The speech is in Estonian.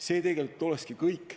See tegelikult olekski kõik.